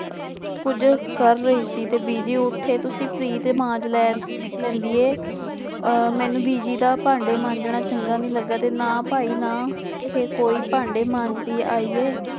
ਕੁੱਝ ਕਰ ਰਹੀ ਸੀ ਤੇ ਬੀਜੀ ਉੱਥੇ ਤੁਸੀਂ ਪਰੀਤ ਮਾਂਜ ਲੈ ਲੈਂਦੀ ਹੈ ਅਹ ਮੈਨੂੰ ਬੀਜੀ ਦਾ ਭਾਂਡੇ ਮਾਂਜਣਾ ਚੰਗਾ ਨਹੀਂ ਲੱਗਾ ਤੇ ਨਾ ਭਾਈ ਨਾ ਇਹ ਕੋਈ ਭਾਂਡੇ ਮਾਂਜਦੀ ਆਈ ਹੈ।